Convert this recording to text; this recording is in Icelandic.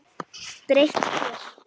Breytt þér.